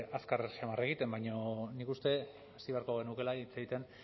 azkar samar egiten baina nik uste hasi beharko genukeela hitz egiten